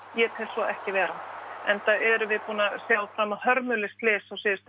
ég tel svo ekki vera enda erum við búin að sjá fram á hörmuleg slys